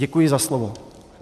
Děkuji za slovo.